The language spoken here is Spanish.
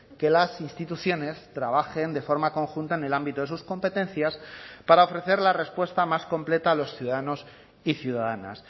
que las instituciones trabajen de forma conjunta en el ámbito de sus competencias para ofrecer la respuesta más completa a los ciudadanos y ciudadanas